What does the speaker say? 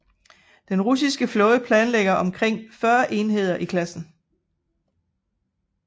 Den russiske flåde planlægger omkring 40 enheder i klassen